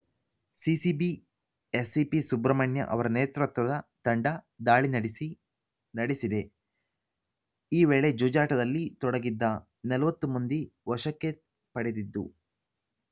CCB ACP Subramanya ಅವರ ನೇತೃತ್ವದ ತಂಡ ದಾಳಿ ನಡೆಸಿ ನಡೆಸಿದೆ ಈ ವೇಳೆ ಜೂಜಾಟದಲ್ಲಿ ತೊಡಗಿದ್ದ ನಲವತ್ತು ಮಂದಿ ವಶಕ್ಕೆ ಪಡೆದಿದ್ದು